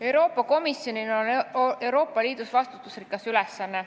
Euroopa Komisjonil on Euroopa Liidus vastutusrikas ülesanne.